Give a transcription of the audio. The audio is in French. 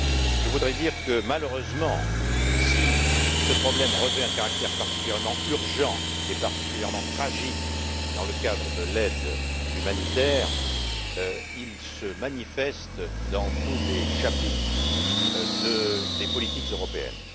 Je voudrais dire que, malheureusement, si ce problème revêt un caractère particulièrement urgent, et particulièrement tragique dans le cadre de l'aide humanitaire, il se manifeste dans tous les chapitres des politiques européennes.